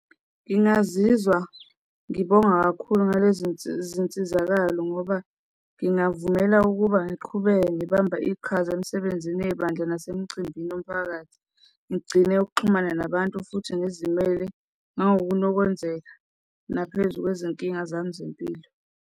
Ngingazizwa ngibonga kakhulu ngale zinsizi, zinsizakalo ngoba ngingavumela ukuba ngiqhubeke mgibamba iqhaza emisebenzini yebandla nasemcimbini yomphakathi. Ngigcine ukuxhumana nabantu futhi ngizimele mawukunokwenzeka naphezu kwezinkinga zami zempilo.